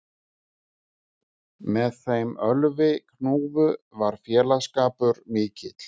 Með þeim Ölvi hnúfu var félagsskapur mikill